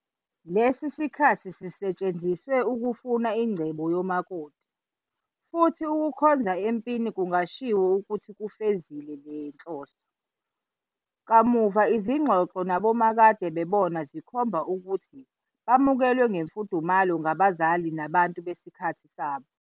Lesi sikhathi sisetshenziswe ukufuna ingcebo yomakoti, futhi ukukhonza empini kungashiwo ukuthi kufezile le nhloso. Kamuva izingxoxo nabomakadebona zikhomba ukuthi bamukelwe ngemfudumalo ngabazali nabantu besikhathi sabo.